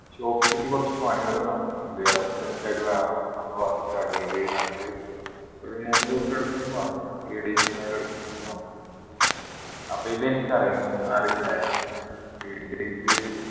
shop ൽ കുറച്ച് പണികൾ നടക്കുന്നുണ്ട് അതൊന്ന് set ആയിട്ട് വേണം നമ്മൾ work start ചെയ്യാൻ അപ്പോ ഈ രണ്ട് ഒരു മൂന്ന് ദിവസം എടുക്കുന്നു പറഞ്ഞു three days എന്തായാലും എടുക്കും ന്ന് പറഞ്ഞു അപ്പോ ഇത് എനിക്കറിയാം അറിയില്ലായിരുന്നു three days